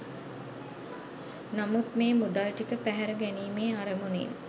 නමුත් මේ මුදල් ටික පැහැර ගැනීමේ අරමුණින්